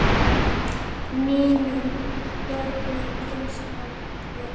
Mínum börnum finnst það betra.